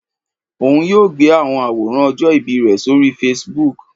Oun yoo gbe awọn aworan ọjọ ibi rẹ sori Facebook.